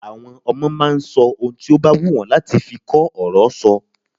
Ọmọde máa ń sọ ohun tí ó bá wù wọ́n láti fi kó ọ̀rọ̀ sọ.